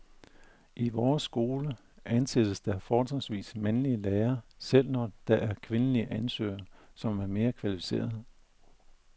I vores skole ansættes der fortrinsvis mandlige lærere, selv når der er kvindelige ansøgere, som er mere kvalificerede.